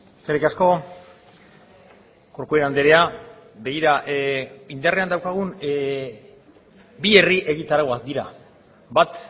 eskerrik asko corcuera andrea begira indarrean daukagun bi herri egitarauak dira bat